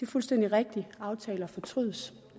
fuldstændig rigtigt aftaler fortrydes